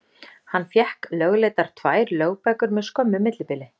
Hann fékk lögleiddar tvær lögbækur með skömmu millibili.